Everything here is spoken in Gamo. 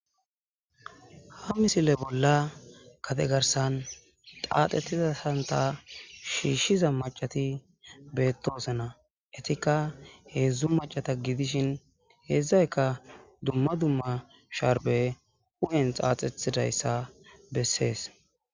Ha misile bolla kategarsan qaaxettizasanta shiishshiza macati beettoosena etikka heedzdzu macata gidishin hezdzayka dumma dumma sharbe u'en xaaxethidayssa bessees